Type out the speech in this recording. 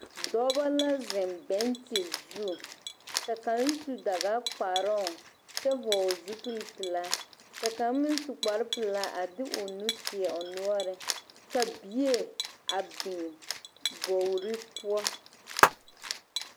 Dɔba la zeŋ bɛnkye zu ka kaŋ su dagakparoŋ kyɛ vɔgle zupilipelaa ka kaŋ meŋ su kparepelaa a de o nu teɛ o noɔreŋ ka bie a biŋ bogri poɔ.